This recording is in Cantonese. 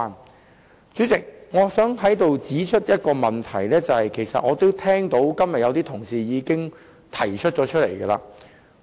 代理主席，我想指出一個其實今天有些同事也曾提出的問題。